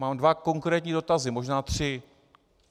Mám dva konkrétní dotazy, možná tři.